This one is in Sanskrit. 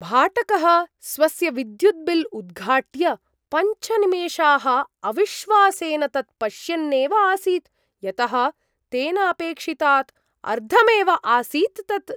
भाटकः स्वस्य विद्युद्बिल् उद्घाट्य पञ्च निमेषाः अविश्वासेन तत् पश्यन्नेव आसीत्, यतः तेन अपेक्षितात् अर्धमेव आसीत् तत्।